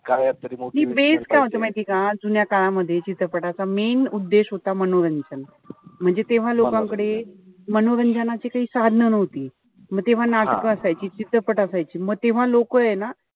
नाई base काय होता माहितीय का? जुन्या काळामध्ये चित्रपटाचा main उद्देश होता मनोरंजन. म्हणजे तेव्हा लोकांकडे मनोरंजनाची काई साधनं नव्हती. म तेव्हा नाटकं असायची. चित्रपट असायची. म तेव्हा लोकय ना,